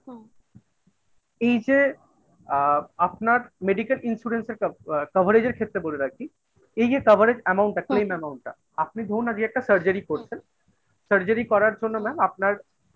এই যে আ আপনার medical insurance একটা আ coverage এর ক্ষেত্রে বলে রাখি এই যে coverage Amount একটা claim Amount টা আপনি ধরুন আজকে একটা surgery করছেন surgery করার জন্য mam আপনার